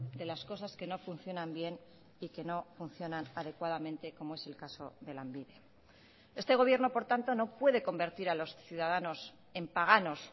de las cosas que no funcionan bien y que no funcionan adecuadamente como es el caso de lanbide este gobierno por tanto no puede convertir a los ciudadanos en páganos